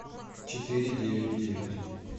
четыре девять девять